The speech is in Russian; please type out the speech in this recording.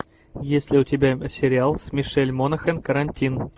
есть ли у тебя сериал с мишель монахэн карантин